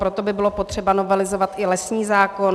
Proto by bylo potřeba novelizovat i lesní zákon.